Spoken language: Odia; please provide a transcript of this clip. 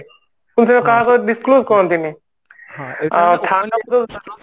କିନ୍ତୁ କାହାକୁ disclose କରନ୍ତି ନି